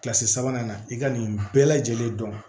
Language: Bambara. Kilasi sabanan na i ka nin bɛɛ lajɛlen dɔn